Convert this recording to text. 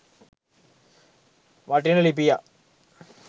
වටින ලිපියක්